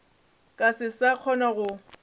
ka se sa kgona go